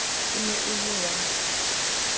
e ne e le wa